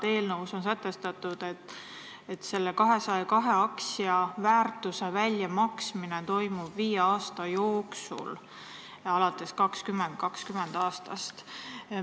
Eelnõus on sätestatud, et selle 202 aktsia väärtuse väljamaksmine toimub viie aasta jooksul alates 2020. aastast.